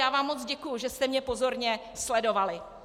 Já vám moc děkuji, že jste mě pozorně sledovali.